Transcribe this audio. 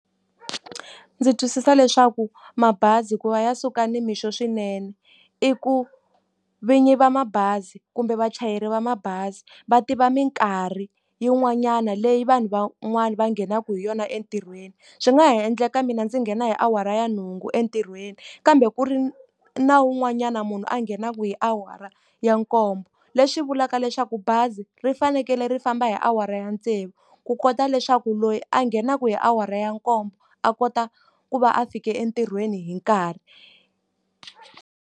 Ndzi twisisa leswaku mabazi hikuva ya suka nimixo swinene, i ku vinyi va mabazi kumbe vachayeri va mabazi va tiva minkarhi yin'wanyana leyi vanhu van'wani va nghenaka hi yona entirhweni. Swi nga ha endleka ka mina ndzi nghena hi awara ya nhungu entirhweni, kambe ku ri na wun'wanyana munhu a nghenaka hi awara ya nkombo. Leswi vulaka leswaku bazi ri fanekele ri famba hi awara ya tsevu, ku kota leswaku loyi a nghenaka hi awara ya nkombo a kota ku va a fike entirhweni hi nkarhi.